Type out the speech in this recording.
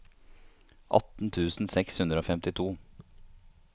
atten tusen seks hundre og femtito